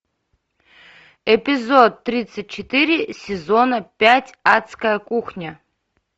эпизод тридцать четыре сезона пять адская кухня